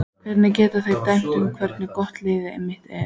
Hvernig geta þeir dæmt um hversu gott liðið mitt er?